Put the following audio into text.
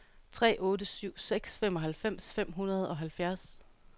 tre otte syv seks femoghalvfems fem hundrede og halvfjerds